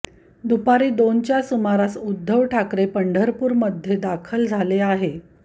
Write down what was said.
दुपारी दोनच्या सुमारार उद्धव ठाकरे पंढरपूरमध्ये दाखल झाले आहे